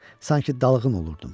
Sanki dalğın olurdum.